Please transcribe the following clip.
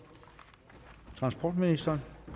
transportministeren